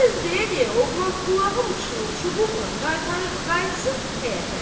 Bu sözü deyə-deyə oğlan ulağın başını çubuqla qaytarırdı qayıtsın həyətə.